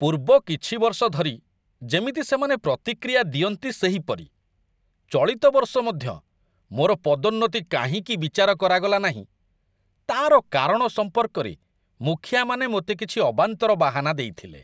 ପୂର୍ବ କିଛି ବର୍ଷ ଧରି ଯେମିତି ସେମାନେ ପ୍ରତିକ୍ରିୟା ଦିଅନ୍ତି ସେହିପରି, ଚଳିତ ବର୍ଷ ମଧ୍ୟ ମୋର ପଦୋନ୍ନତି କାହିଁକି ବିଚାର କରାଗଲାନାହିଁ ତା'ର କାରଣ ସମ୍ପର୍କରେ ମୁଖିଆମାନେ ମୋତେ କିଛି ଅବାନ୍ତର ବାହାନା ଦେଇଥିଲେ।